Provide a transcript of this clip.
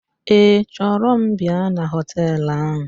Ee, chọrọ m bịa na họteelụ ahụ